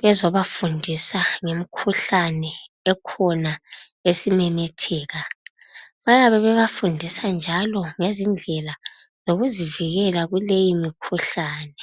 bezobafundisa ngemikhuhlane ekhona esimemetheka. Bayabe bebafundisa njalo ngendlela zokuzivikela kuleyi mikhuhlane.